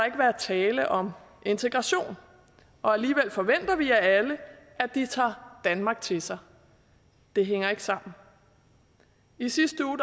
ikke være tale om integration og alligevel forventer vi af alle at de tager danmark til sig det hænger ikke sammen i sidste uge